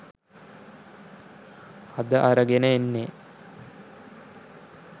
අද අරගෙන එන්නෙ